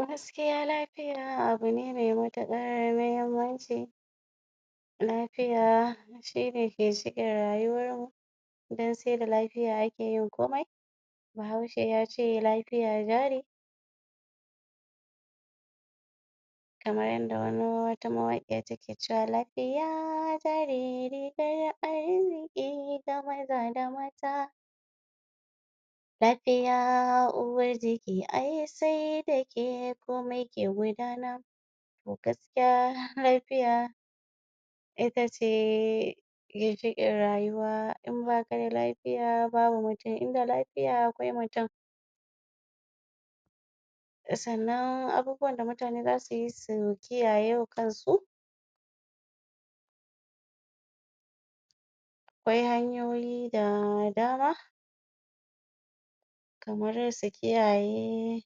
a gaskiya lafiya abu ne mai matuƙar muhimmanci, lafiya shine ginshiƙin rayuwarmu dan se da lafiya ake yin komai. Bahaushe yace lafiya jari kamar yanda wata mawaƙiya take cewa lafiya jari rigar arziki ga maza da mata. Lafiya uwar giki ai se da ke komai ke gudana. To gaskiya lafiya ita ce ginshiƙin rayuwa, in baka da lafiya babu mutum, inda lafiya akwai mutum. Sannan abubuwan da mutane za su yi su kiyaye wa kansu akwai hanyoyi da dama kamar su kiyaye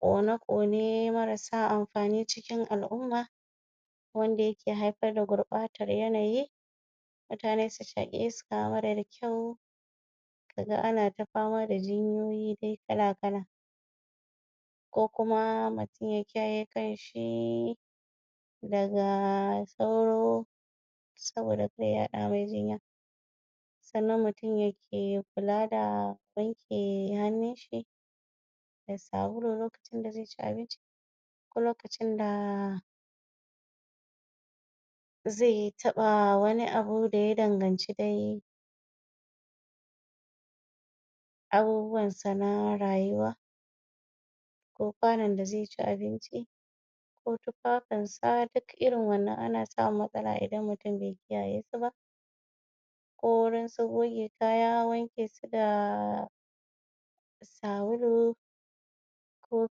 ƙone-ƙone marasa amfani cikin al’umma wanda yake haifar da gurɓatar yanayi, mutane su shaƙi iska marar kyau, kaga ana ta fama da jinyoyi dai kala-kala. Ko kuma mutum ya kiyaye kanshi daga sauro saboda kar ya yaɗa mai jinya. Sannan mutum yake kula da wanke hannun shi da sabulu lokacin da ze ci abinci ko lokacin da ze taɓa wani abu da ya danganci dai abubuwansa na rayuwa ko ƙwanon da ze ci abinci ko tufafinsa. Duk irin wannan ana samun matsala in mutum bai kiyaye su ba, ko gurin su goge kaya wanke su da sabulu ko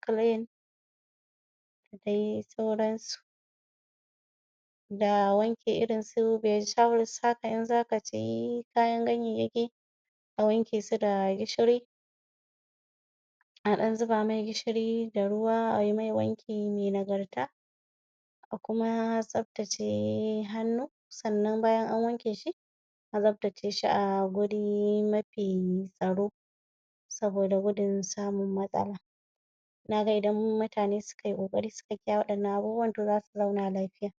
clean da dai sauransu. Da wanke irin su vegetable haka in zaka ci ka wanke su da gishiri, a ɗan zuba me gishiri da ruwa a mai wanki mai nagarta a kuma tsaftace hannu. Sannan bayan an wanke shi a zo a tsaftace shi a guri mafi tsaro saboda gudun samun matsala. Naga idan mutane suka yi ƙoƙari suka kiyaye waɗannan abubuwan to zasu zauna lafiya.